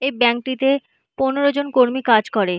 এই ব্যাংক টি তে পনেরো জন কর্মী কাজ করে।